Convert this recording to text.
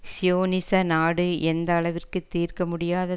சியோனிச நாடு எந்த அளவிற்கு தீர்க்க முடியாத